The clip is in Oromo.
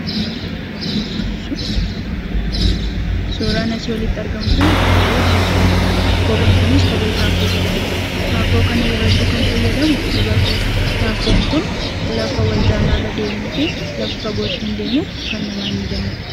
Suuraan asii oliitti argamu kun kophee dubartootaati. Kopheen kunis kophee Taakkoo jedhamudha. Taakkoo kana yeroo hedduu kan fayyadamu dubartoota. Taakkoon kun lafa wal caalaa irra deemuu fi lafa fagoo ittiin deemuu kan namaa hin mijannedha.